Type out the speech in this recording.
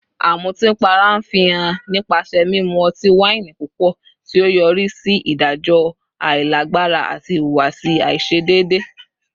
Amutipara nfihan nipasẹ mimu ọti-waini pupọ, ti o yori si idajọ ailagbara ati ihuwasi aiṣedeede